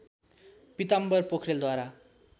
Pitambar पोखरेलद्वारा